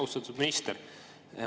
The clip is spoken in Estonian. Austatud minister!